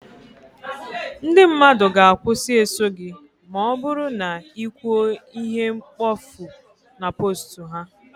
ndị mmadụ ga- akwusi eso gị ma ọ bụrụ na ị kwuo ihe mkpofu na post ha